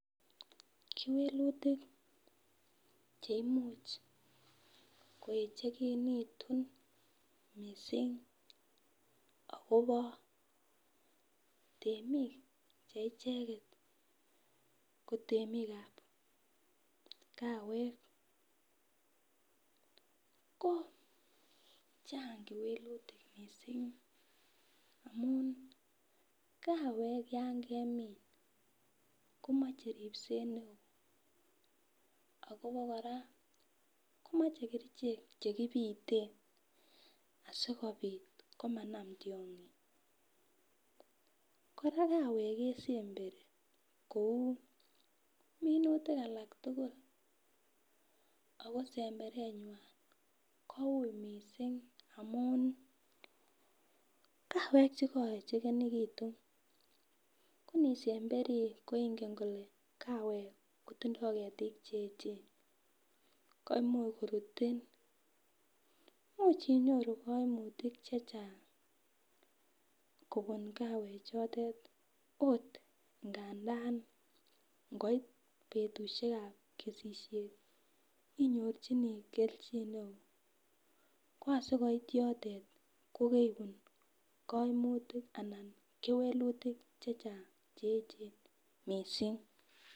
Kewelutik cheimuch keyechekinitun missing akobo temik cheicheket ko temikab kawek ko chang kewelutik missing amun kawek yon kemin komoche ripset neo ako abokora komoche kerichek chekipiten asikopit komanam tyongik. Koraa kawek mesembei kou minutik alak tukul ako semberenywan kou missing lakwet chekoyechekinitun ko nisemberi ko ingen ile kawek kotindo ketik cheyechen ko imuch korutin imuch inyoru koimutik chechang kobun kawek chotet ot ngandan koit betushekab kesishet inyorchigee keljin neo kwa asikopit yotet ko keibun koimutik anan kewelutik chechang cheyechen missing.